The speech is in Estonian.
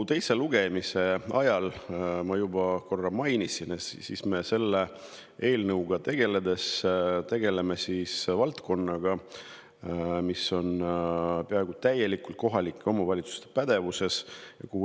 Teise lugemise ajal ma korra juba mainisin, et selle eelnõu puhul me tegeleme valdkonnaga, mis on peaaegu täielikult kohalike omavalitsuste pädevuses.